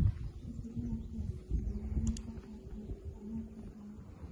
Hubi inaad haysatid diiwaanno sax ah ee isticmaalka daawada.